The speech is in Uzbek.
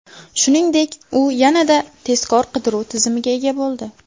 Shuningdek, u yanada tezkor qidiruv tizimiga ega bo‘ldi.